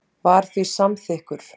var því samþykkur.